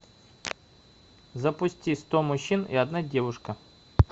запусти сто мужчин и одна девушка